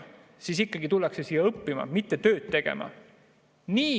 ... siis ikkagi tullakse siia õppima, mitte tööd tegema.